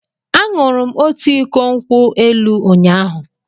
Aṅụrụ m otu iko nkwụ elụ ụnyahụ.